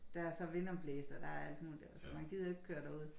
Der er så vindomblæst og der er alt muligt så man gider ikke køre derud